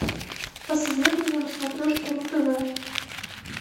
посоветуй мне на смотрешке ру тв